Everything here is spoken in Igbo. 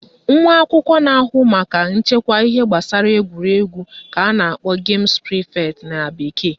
Nwa akwụkwọ na-ahụ maka nchekwa ihe gbasara egwuregwu ka a na-akpọ games prefect na bekee